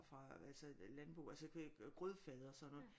Fra altså landbrug altså grødfade og sådan noget